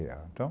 a Então.